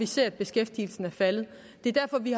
ser at beskæftigelsen er faldet det er derfor vi